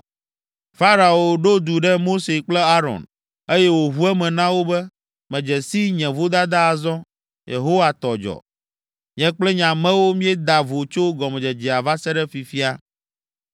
Farao ɖo du ɖe Mose kple Aron, eye wòʋu eme na wo be, “Medze si nye vodada azɔ, Yehowa tɔ dzɔ. Nye kple nye amewo míeda vo tso gɔmedzedzea va se ɖe fifia.